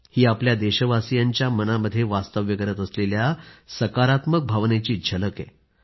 ही आपल्या देशवासियांच्या मनामध्ये वास्तव्य करत असलेल्या सकारात्मक भावनेची झलक आहे